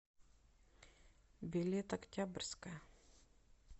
билет октябрьская